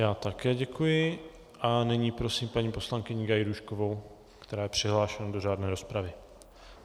Já také děkuji a nyní prosím paní poslankyni Gajdůškovou, která je přihlášena do řádné rozpravy.